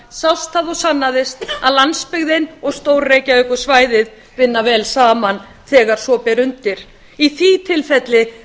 sást það og sannaðist að landsbyggðin og stór reykjavíkursvæðið vinna vel saman þegar svo ber undir í því tilfelli